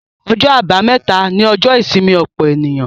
Ọjọ́ àbámẹ́ta ni ọjọ́ ìsinmi ọ̀pọ̀ ènìyàn.